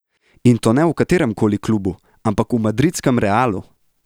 In to ne v katerem koli klubu, ampak v madridskem Realu!